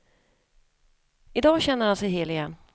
Idag känner han sig hel igen.